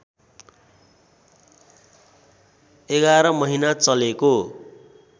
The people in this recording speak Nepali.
११ महिना चलेको